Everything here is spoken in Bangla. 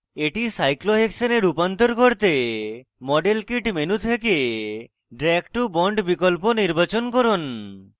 এটি সাইক্লোহেক্সেনে রূপান্তর করতে model kit menu থেকে drag to bond বিকল্প নির্বাচন করুন